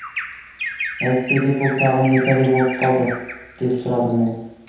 әйтсе де бұл тағы не пәле болып қалды деп сұрадым мен